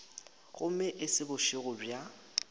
gomme e se bošego bja